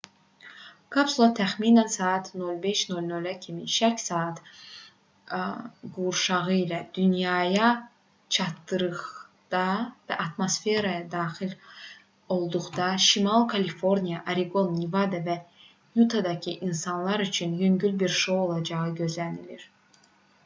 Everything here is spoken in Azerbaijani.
kapsula təxminən saat 05:00 kimi şərq saat qurşağı ilə dünyaya çatdıqda və atmosferə daxil olduqda şimali kaliforniya oreqon nevada və yutadakı insanlar üçün yüngül bir şou olacağı gözlənilir